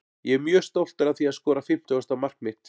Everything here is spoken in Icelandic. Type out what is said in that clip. Ég er mjög stoltur að því að skora fimmtugasta mark mitt.